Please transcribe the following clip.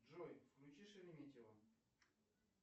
джой включи шереметьево